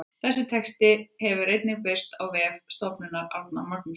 Þessi texti hefur einnig birst á vef Stofnunar Árna Magnússonar.